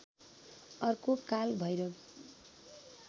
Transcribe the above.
अर्को काल भैरव